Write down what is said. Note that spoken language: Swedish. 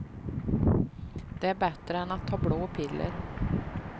Det är bättre än att ta blå piller.